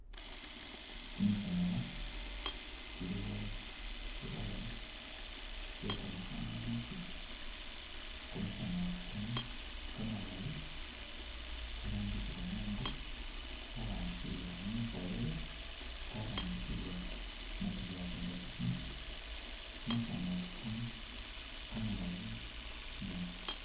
Kimisaala kilikho tsi wire tsye kamasanyalazi, kamasanyalazi kano kamalayi, karambisibwa mungo, karambisibwila mumakholelo, karambisibwa mu khu charginga tsisiimu, kamasanyalazi kano kamalayi nabi.